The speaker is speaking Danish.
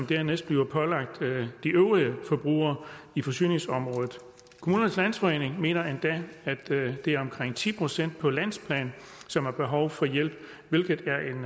dernæst blive pålagt de øvrige forbrugere i forsyningsområdet kommunernes landsforening mener endda at det er omkring ti procent på landsplan som har behov for hjælp hvilket